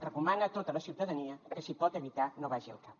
recomana a tota la ciutadania que si ho pot evitar no vagi al cap